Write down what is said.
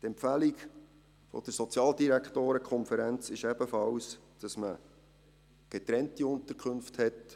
Die Empfehlung der SODK lautet ebenfalls, dass man getrennte Unterkünfte hat.